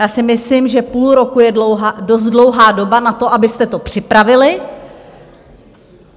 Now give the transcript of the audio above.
Já si myslím, že půl roku je dost dlouhá doba na to, abyste to připravili.